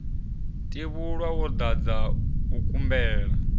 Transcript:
tevhula wo dadza u kumbela